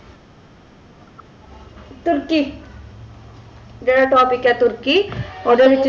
ਤੁਰਕੀ ਜੇਰਾ topic ਆ ਤੁਰਕੀ ਓਦੇ ਵਿਚ